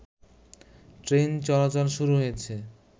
train চলাচল শুরু হয়েছে